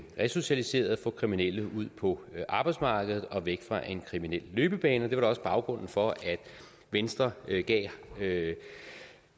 resocialiseret få kriminelle ud på arbejdsmarkedet og væk fra en kriminel løbebane det var da også baggrunden for at venstre gav